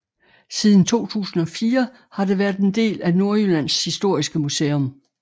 Siden 2004 har det været en del af Nordjyllands Historiske Museum